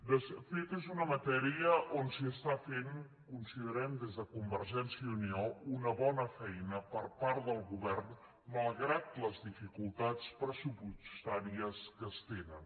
de fet és una matèria on s’està fent considerem des de convergència i unió una bona feina per part del govern malgrat les dificultats pressupostàries que es tenen